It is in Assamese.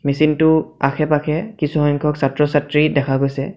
মেচিনটোৰ আশে পাশে কিছুসংখ্যক ছাত্ৰ ছাত্ৰী দেখা গৈছে।